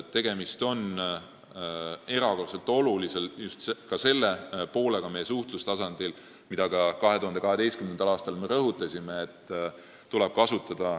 Tegemist on selle erakordselt olulise suhtlustasandi poolega, mida me oleme ka 2018. aastal rõhutanud.